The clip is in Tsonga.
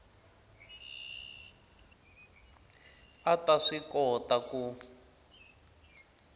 a ta swi kota ku